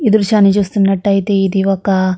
ఈ దృశ్యాన్ని చూస్తున్నట్టాయితే ఇది ఒక --